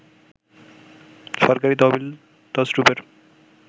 সরকারি তহবিল তছরূপের